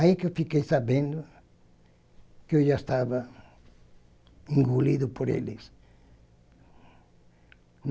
Aí que eu fiquei sabendo que eu já estava engolido por eles.